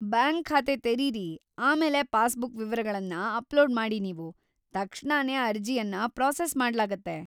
Bank ಖಾತೆ ತೆರೀರಿ, ಆಮೇಲೆ ಪಾಸ್‌ಬುಕ್ ವಿವರಗಳನ್ನ ಅಪ್ಲೋಡ್ ಮಾಡಿ ನೀವು, ತಕ್ಷಣನೇ ಅರ್ಜಿಯನ್ನ ಪ್ರಾಸೆಸ್‌ ಮಾಡ್ಲಾಗತ್ತೆ.